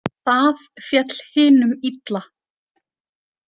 Það féll hinum illa.